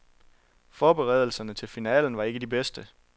Forberedelserne til finalen var ikke de bedste.